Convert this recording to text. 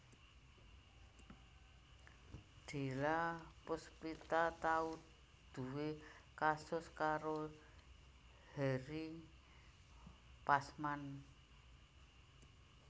Della Puspita tau nduwé kasus karo Henry Pasman